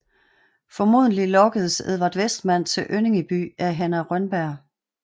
Formodentligt lokkedes Edvard Westman til Önningeby af Hanna Rönnberg